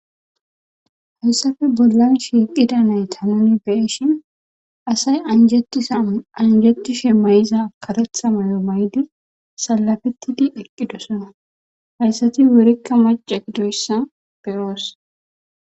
Hayssafe bollan shiiqida nayta nuni beeshin asay anjetisa anjetishe may'za katetha mayo maydi salafettidi eqqidosana hayssati worikka maca gidoyssa beyoos.